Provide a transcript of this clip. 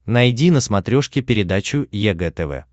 найди на смотрешке передачу егэ тв